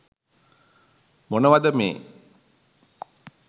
මොනවද මේ